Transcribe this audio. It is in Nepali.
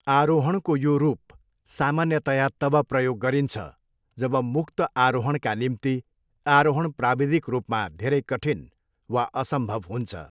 आरोहणको यो रूप सामान्यतया तब प्रयोग गरिन्छ जब मुक्त आरोहणका निम्ति आरोहण प्राविधिक रूपमा धेरै कठिन वा असम्भव हुन्छ।